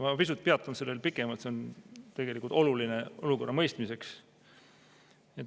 Ma peatun sellel pisut pikemalt, see on tegelikult oluline olukorra mõistmiseks.